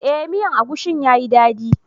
Eh, miyan agushin ya yi dadi.